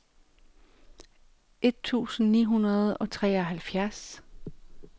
et tusind ni hundrede og treoghalvtreds